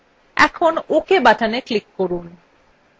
এখন ok button click করুন